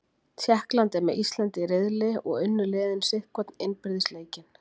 Tékkland er með Íslandi í riðli og unnu liðin sitt hvorn innbyrðis leikinn.